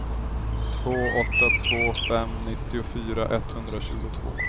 två åtta två fem nittiofyra etthundratjugotvå